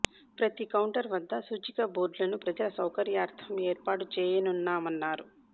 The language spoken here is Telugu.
ప్రతి కౌంటర్ వద్ద సూచిక బోర్డులను ప్రజల సౌకర్యార్ధం ఏర్పాటు చేయనున్నామన్నారు